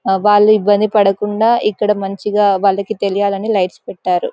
వాళ్లు ఇబ్బంది పడకుండా ఇక్కడ మంచిగా వాళ్ళకి తెలియాలని లైట్స్ పెట్టారు.